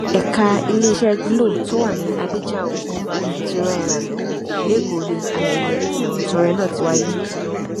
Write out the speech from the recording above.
ẹka iléeṣẹ glo tó wà ní adéjọa òdekù victoria island lẹkọọ ni ayẹyẹ ìfẹbùntọrẹ náà ti wáyé